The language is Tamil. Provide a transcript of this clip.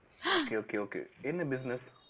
okay okay okay என்ன business